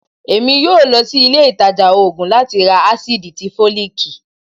èmí yóò lòsí ilé ìtajà òògùn lati rá acidí tí folikí